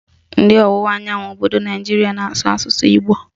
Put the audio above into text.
Ndị ọwụwa anyanwụ obodo Naijiria na-asụ asụsụ Igbo